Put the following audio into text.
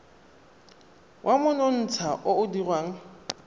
wa monontsha o o dirwang